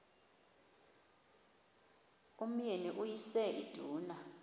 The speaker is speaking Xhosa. umyeni uyise iduna